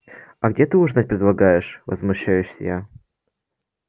а где ты ужинать предлагаешь возмущаюсь я